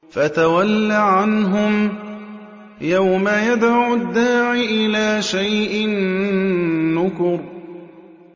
فَتَوَلَّ عَنْهُمْ ۘ يَوْمَ يَدْعُ الدَّاعِ إِلَىٰ شَيْءٍ نُّكُرٍ